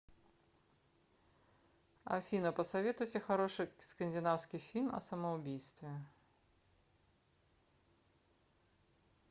афина посоветуйте хороший скандинавский фильм о самоубийстве